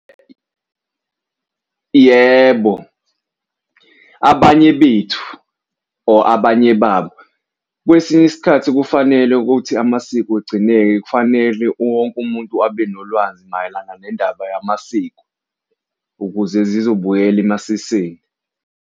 Yebo, abanye bethu or abanye babo kwesinye isikhathi kufanele ukuthi amasiko agcineke kufanele wonke umuntu abe nolwazi mayelana nendaba yamasiko ukuze zizobuyela emasisweni.